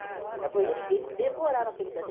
Depois ele ele devorava aqueles atlas.